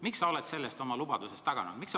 Miks sa oled sellest oma lubadusest taganenud?